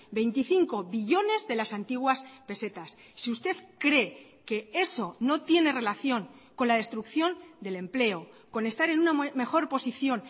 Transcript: veinticinco billones de las antiguas pesetas si usted cree que eso no tiene relación con la destrucción del empleo con estar en una mejor posición